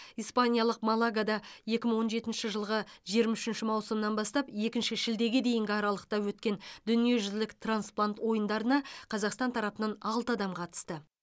испаниялық малагада екі мың он жетінші жылғы жиырма үшінші маусымнан бастап екінші шілдеге дейінгі аралықта өткен дүниежүзілік трансплант ойындарына қазақстан тарапынан алты адам қатысты